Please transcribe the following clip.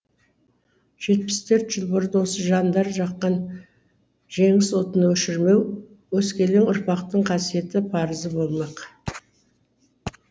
жетпіс төрт жыл бұрын осы жандар жаққан жеңіс отын өшірмеу өскелең ұрпақтың қасиетті парызы болмақ